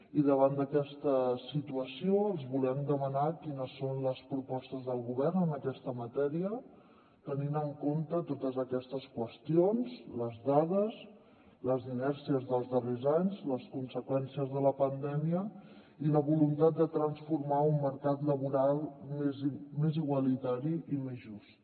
i davant d’aquesta situació els volem demanar quines són les propostes del govern en aquesta matèria tenint en compte totes aquestes qüestions les dades les inèrcies dels darrers anys les conseqüències de la pandèmia i la voluntat de transformar un mercat laboral més igualitari i més just